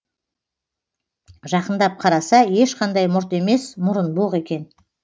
жақындап қараса ешқандай мұрт емес мұрынбоқ екен